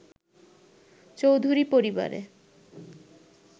চৌধুরী পরিবারে